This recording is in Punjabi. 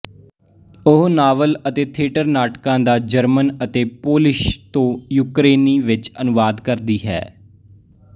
ਉਹ ਨਾਵਲ ਅਤੇ ਥੀਏਟਰ ਨਾਟਕਾਂ ਦਾ ਜਰਮਨ ਅਤੇ ਪੋਲਿਸ਼ ਤੋਂ ਯੂਕਰੇਨੀ ਵਿਚ ਅਨੁਵਾਦ ਕਰਦੀ ਹੈ